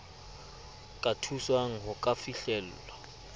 ka thuswang ho ka fihlella